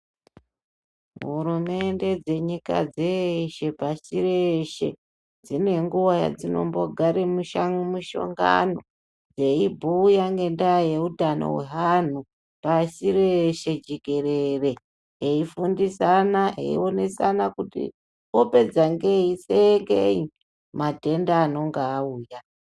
Hurumende dze nyika dzeshe pashi reshe dzine nguva yadzinombo gare mushongano dzeyi bhuya ngenda ye utano hwe anhu pasi reshe jekerere eyi fundisana eyi onesana kuti opedza ngei sei matenda anonga auya.